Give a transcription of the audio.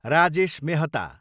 Rajesh Mehta